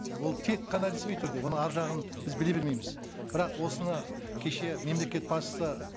ол тек қана ресми түрде оның ар жағын біз біле бермейміз бірақ осыны кеше мемлекет басшысы